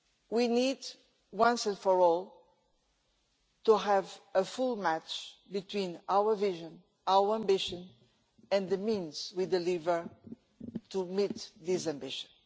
we need, once and for all, to have a full match between our vision, our ambition and the means we deliver to meet this ambition.